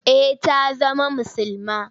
Eh ta zama musulma.